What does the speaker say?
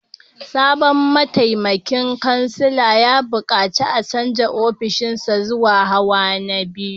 Sabon mataimakin kansila ya bukaci a canza ofishinsa zuwa hawa na biyu